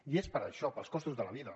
i és per això pels costos de la vida